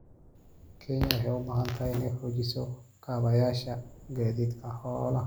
Kenya waxay u baahan tahay inay xoojiso kaabayaasha gaadiidka xoolaha.